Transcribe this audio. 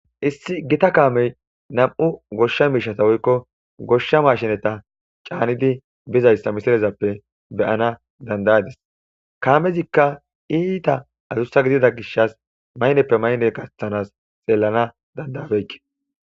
Issi gita kaamey nam,u goshsha miishata woykko goshsha mashineta caanidi bizayssa misirezappe beyana dandayadis kaamezikka iita azussa gidida gishas mayneppe mayne gaththanas xeellana dandayabeykke